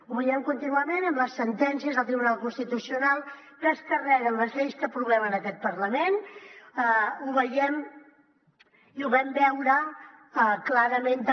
ho veiem contínuament en les sentències del tribunal constitucional que es carreguen les lleis que aprovem en aquest parlament ho veiem i ho vam veure clarament també